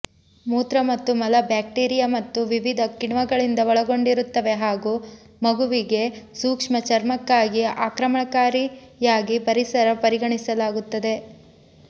ಮೂತ್ರ ಮತ್ತು ಮಲ ಬ್ಯಾಕ್ಟೀರಿಯಾ ಮತ್ತು ವಿವಿಧ ಕಿಣ್ವಗಳಿಂದ ಒಳಗೊಂಡಿರುತ್ತವೆ ಹಾಗು ಮಗುವಿನ ಸೂಕ್ಷ್ಮ ಚರ್ಮಕ್ಕಾಗಿ ಆಕ್ರಮಣಕಾರಿಯಾಗಿ ಪರಿಸರ ಪರಿಗಣಿಸಲಾಗುತ್ತದೆ